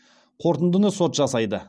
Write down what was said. қорытындыны сот жасайды